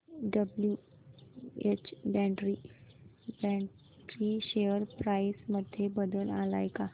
WH Brady share price मध्ये बदल आलाय का